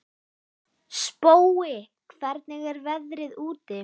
Spói, hvernig er veðrið úti?